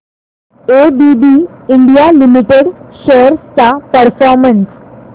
ABB India limited shares चा performance